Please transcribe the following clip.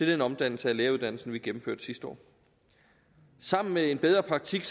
den omdannelse af lægeuddannelsen vi gennemførte sidste år sammen med en bedre praktik